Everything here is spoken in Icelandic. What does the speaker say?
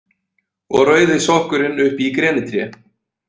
Og rauði sokkurinn uppi í grenitré.